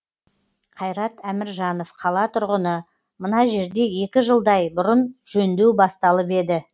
қайрат әміржанов қала тұрғыны мына жерде екі жылдай бұрын жөндеу басталып еді